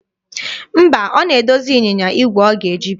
Mba, ọ na-edozi ịnyịnya igwe ọ ga-eji bịa.